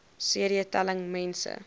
cd telling mense